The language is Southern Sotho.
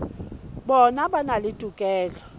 bona ba na le tokelo